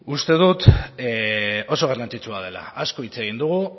uste dut oso garrantzitsua dela asko hitz egin dugu